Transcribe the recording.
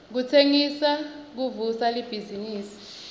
kutsengisa kuvusa libhizinifi